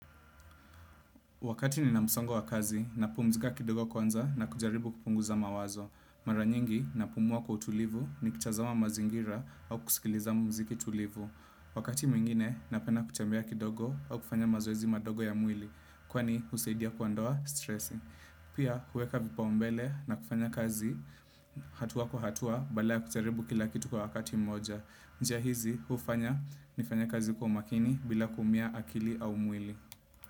Wakati nina musongo wa kazi, napumzika kidogo kwanza na kujaribu kupunguza mawazo. Maranyingi, napumua kwa utulivu nikitazama mazingira au kusikiliza mziki tulivu. Wakati mwingine, napenda kutembea kidogo au kufanya mazoezi madogo ya mwili. Kwani, usaidia kuandoa stressi. Pia, kueka vipaumbele na kufanya kazi hatuwa kwa hatua, bala ya kujaribu kila kitu kwa wakati mmoja. Njia hizi, ufanya, nifanye kazi kwa umakini bila kumia akili au mwili.